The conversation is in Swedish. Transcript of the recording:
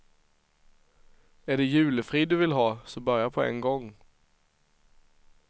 Är det julefrid du vill ha, så börja på en gång.